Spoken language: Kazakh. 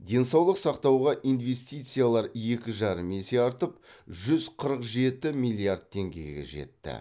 денсаулық сақтауға инвестициялар екі жарым есе артып жүз қырық жеті миллиард теңгеге жетті